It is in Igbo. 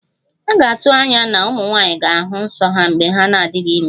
A ga-atụ anya na ụmụ nwanyị ga-ahụ nso ha mgbe ha na-adịghị ime